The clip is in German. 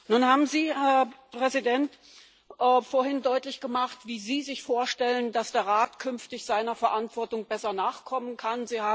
Nun haben Sie, Herr Präsident, vorhin deutlich gemacht, wie Sie sich vorstellen, dass der Rat künftig seiner Verantwortung besser nachkommen kann.